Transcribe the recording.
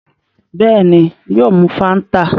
Bẹ́ẹ̀ni, yóò mu Fáńtà.